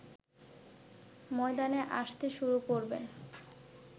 ময়দানে আসতে শুরু করবেন